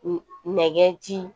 Nɛgɛ ci